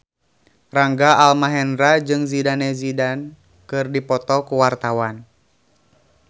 Rangga Almahendra jeung Zidane Zidane keur dipoto ku wartawan